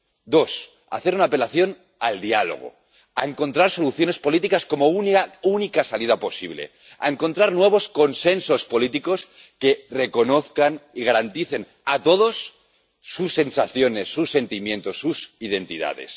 2 al diálogo, a encontrar soluciones políticas como única salida posible, a encontrar nuevos consensos políticos que reconozcan y garanticen a todos sus sensaciones, sus sentimientos, sus identidades